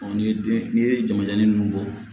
ni den n'i ye jamaja ninnu bɔ